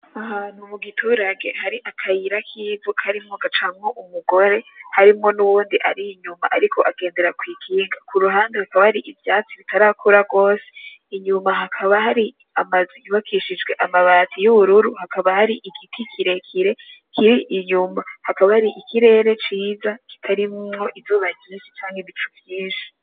Ahantu mugiturage hari akayira k'ivu karimwo gacamwo umugore harimwo nuwundi ari inyuma ariko agendera kw'ikinga. Kuruhande hakaba hari ivyatsi bitarakura gose, inyuma hakaba hari amazu yubakishijwe amabati yubururu hakaba hari igiti kirekire kiri inyuma, hakaba hari ikirere ciza kitarimwo izuba ryinshi canke ibicu vyinshi.